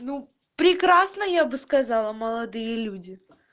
ну прекрасно я бы сказала молодые люди